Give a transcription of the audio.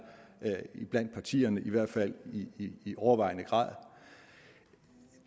iblandt partierne i hvert fald i i overvejende grad